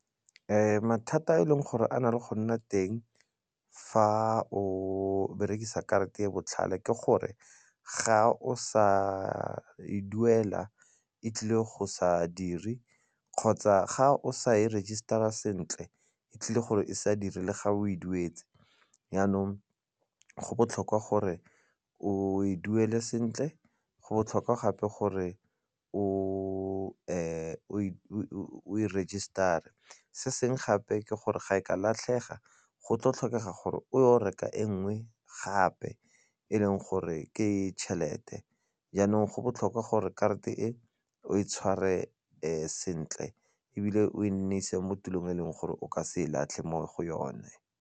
Mathata a e leng gore a na le go nna teng fa o berekisa karata e botlhale ke gore ga o sa e duela e tlile go sa dire kgotsa ga o sa e register-a sentle e tlile gore e sa dire le ga o e duetse jaanong go botlhokwa gore o e duele sentle, go botlhokwa gape gore o e register-e, se sengwe gape ke gore ga e ka latlhega go tlo tlhokega gore o reka e nngwe gape e leng gore ke tšhelete jaanong go botlhokwa gore karate e o e tshware sentle ebile o e nnise mo tulong e leng gore o ka se e latlhe mo go yone.